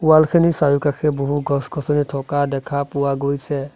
Wall খিনি চাৰিওকাষে বহু গছ-গছনি থকা দেখা পোৱা গৈছে।